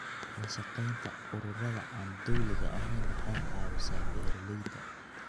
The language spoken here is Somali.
La shaqaynta ururada aan dawliga ahayn waxay caawisaa beeralayda.